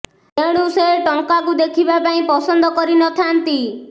ତେଣୁ ସେ ଟଙ୍କାକୁ ଦେଖିବା ପାଇଁ ପସନ୍ଦ କରି ନଥାଆନ୍ତି